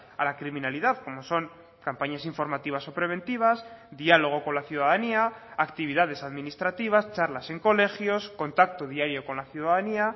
a la criminalidad como son campañas informativas o preventivas diálogo con la ciudadanía actividades administrativas charlas en colegios contacto diario con la ciudadanía